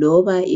loba